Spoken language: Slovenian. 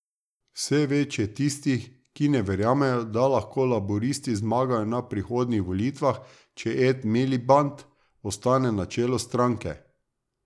Vse več je tistih, ki ne verjamejo, da lahko laburisti zmagajo na prihodnjih volitvah, če Ed Miliband ostane na čelu stranke.